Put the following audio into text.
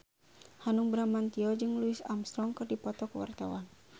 Hanung Bramantyo jeung Louis Armstrong keur dipoto ku wartawan